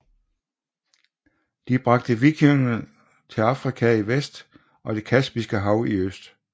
De bragte vikingernes til Amerika i vest og Det Kaspiske Hav i øst